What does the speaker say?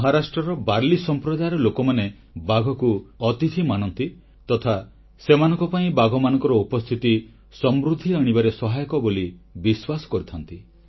ମହାରାଷ୍ଟ୍ରର ବାଲି ସମ୍ପ୍ରଦାୟର ଲୋକମାନେ ବାଘକୁ ଅତିଥି ମାନନ୍ତି ତଥା ସେମାନଙ୍କ ପାଇଁ ବାଘମାନଙ୍କର ଉପସ୍ଥିତି ସମୃଦ୍ଧି ଆଣିବାରେ ସହାୟକ ବୋଲି ବିଶ୍ୱାସ କରିଥାନ୍ତି